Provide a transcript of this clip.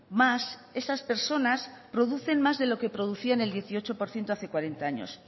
más esas personas producen más de lo que producían el dieciocho por ciento hace cuarenta años